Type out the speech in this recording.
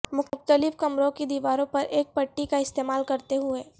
مختلف کمروں کی دیواروں پر ایک پٹی کا استعمال کرتے ہوئے